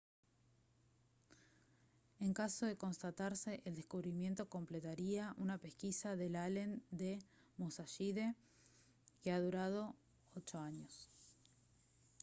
en caso de constatarse el descubrimiento completaría una pesquisa del allen del musashide que ha durado ocho años